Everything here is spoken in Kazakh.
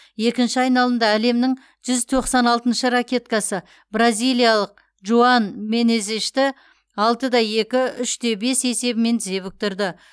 екінші айналымда әлемнің жүз тоқсан алтыншы ракеткасы бразилиялық жоан менезешті алты да екі үш те бес есебімен тізе бүктірді